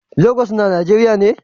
Lagos na a nageriya ne?